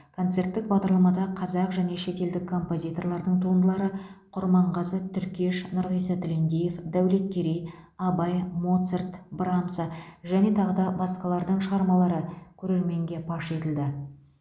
концерттік бағдарламада қазақ және шетелдік композиторлардың туындылары құрманғазы түркеш нұрғиса тілендиев дәулеткерей абай моцарт брамса және тағы басқалардың шығармалары көрерменге паш етілді